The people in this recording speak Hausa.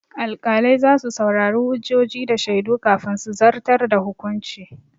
Alƙalai za su saurari hujjoji da shaidu kafin su zartar da hukunci.